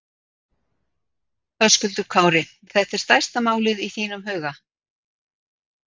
Höskuldur Kári: Þetta er stærsta málið í þínum huga?